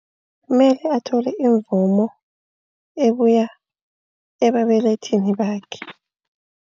Kumele athole imvumo ebuya ebabelethini bakhe.